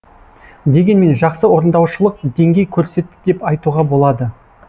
дегенмен жақсы орындаушылық деңгей көрсетті деп айтуға болады